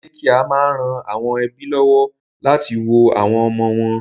Dékià máa ń ran àwọn ẹ́bí lọ́wọ́ láti wo àwọn ọmọ wọn